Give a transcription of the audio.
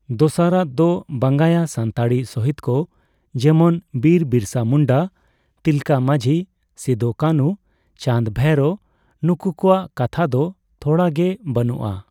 ᱫᱚᱥᱟᱨᱟᱜ ᱫᱚ ᱵᱟᱝᱭᱟ ᱥᱟᱱᱛᱟᱲᱤ ᱥᱚᱦᱤᱫ ᱠᱚ, ᱡᱮᱢᱚᱱ ᱵᱤᱨ ᱵᱤᱨᱟᱥᱟ ᱵᱤᱨᱥᱟ ᱢᱩᱱᱰᱟ, ᱛᱤᱞᱠᱟᱹ ᱢᱟᱡᱷᱤ, ᱥᱤᱫᱳ ᱠᱟᱱᱩ, ᱪᱟᱸᱫᱽ ᱵᱷᱟᱭᱨᱳ ᱱᱩᱠᱩ ᱠᱚᱣᱟᱜ ᱠᱟᱛᱷᱟᱫᱚ ᱫᱚ ᱛᱷᱚᱲᱟ ᱜᱮ ᱵᱟᱹᱱᱩᱜᱼᱟ ᱾